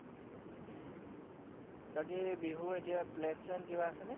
বাকী বিহু এতিয়া plan শ্লেন কিবা আছেনে?